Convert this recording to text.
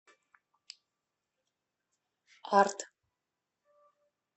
арт